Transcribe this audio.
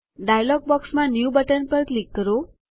dialog બોક્સમાં new button પર click કરો